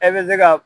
E bɛ se ka